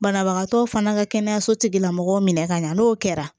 Banabagatɔw fana ka kɛnɛyaso tigilamɔgɔw minɛ ka ɲa n'o kɛra